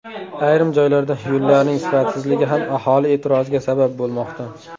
Ayrim joylarda yo‘llarning sifatsizligi ham aholi e’tiroziga sabab bo‘lmoqda.